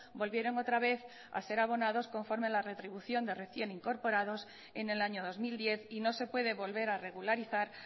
volvieron otra vez a ser abonados conforme a la retribución de recién incorporados en el año dos mil diez y no se puede volver a regularizar